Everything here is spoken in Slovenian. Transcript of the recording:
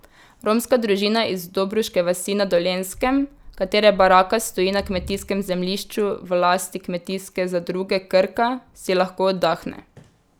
Romska družina iz Dobruške vasi na Dolenjskem, katere baraka stoji na kmetijskem zemljišču v lasti Kmetijske zadruge Krka, si lahko oddahne.